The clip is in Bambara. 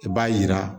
I b'a yira